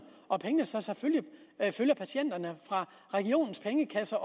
og pengene så selvfølgelig følger patienterne fra regionens pengekasser